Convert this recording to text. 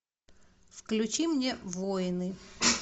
включи мне войны